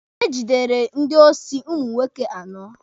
E jidere ndị osi ụmụ nwoke anọ.